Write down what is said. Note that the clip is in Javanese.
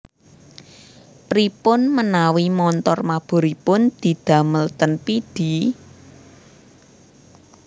Piripun menawi montor maburipun didamel ten Pidie?